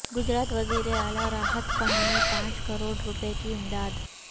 گجرات وزیر اعلی راحت فنڈ میں پانچ کروڑ روپے کی امداد